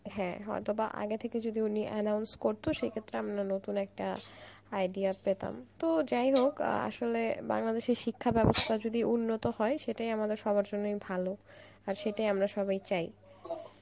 হ্যাঁ হয়তোবা আগে থেকে উনি যদি announce করতো সেক্ষেত্রে আমরা নতুন একটা idea পেতাম, যাইহোক আসলে বাংলাদেশের শিক্ষা ব্যবস্থা যদি উন্নত হয় সেটাই আমাদের সবার জন্য ভালো আর সেটাই আমরা সবাই চাই